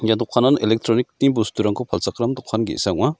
ia dokanan electronic-ni bosturangko palchakram dokan ge·sa ong·a.